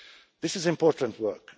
This is important work